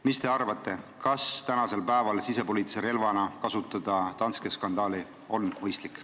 Mis te arvate, kas on mõistlik kasutada sisepoliitilise relvana Danske skandaali?